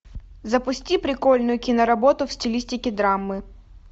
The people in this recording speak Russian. запусти прикольную кино работу в стилистике драмы